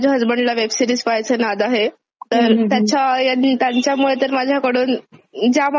तर त्याच्या याने त्यांच्यामुळे तर माझ्याकडून ज्या मला आवडत नाही अशापण खुप सिरीज पहिल्या गेल्यात.